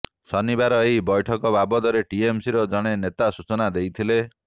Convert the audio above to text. ଶନିବାର ଏହି ବୈଠକ ବାବଦରେ ଟିଏମସିର ଜଣେ ନେତା ସୂଚନା ଦେଇଥିଲେ